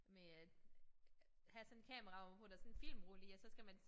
Med at have sådan kamera hvorpå der sådan filmrulle i og så skal man